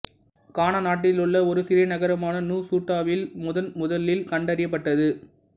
கானா நாட்டிலுள்ள ஒரு சிறிய நகரமான நுசுட்டாவில் முதன் முதலில் கண்டறியப்பட்டது